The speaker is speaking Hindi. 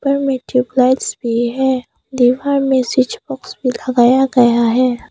घर में ट्यूबलाइट्स भी है। दीवार में स्विच बॉक्स भी लगाया गया है।